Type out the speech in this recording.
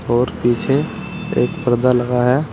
और पीछे एक पर्दा लगा है।